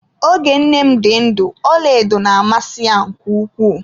Oge nne m dị ndụ ọlaedo na amasị ya nke ukwuu.